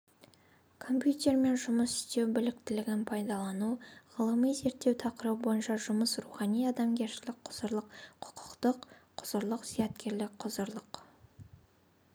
компьютермен жұмыс істеу біліктілігін пайдалану ғылыми-зерттеу тақырыбы бойынша жұмыс рухани-адамгершілік құзырлық құқықтық құзырлық зияткерлік құзырлық